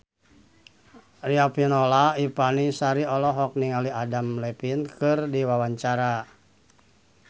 Riafinola Ifani Sari olohok ningali Adam Levine keur diwawancara